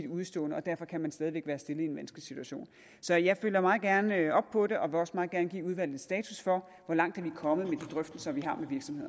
udestående og derfor kan man stadig væk være stillet i en vanskelig situation så jeg følger meget gerne op på det og vil også meget gerne give udvalget en status for hvor langt vi er kommet med de drøftelser vi har